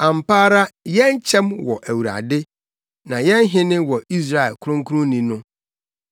Ampa ara, yɛn kyɛm wɔ Awurade, na yɛn hene wɔ Israel Kronkronni no.